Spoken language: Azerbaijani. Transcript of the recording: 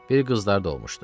Bir qızları da olmuşdu.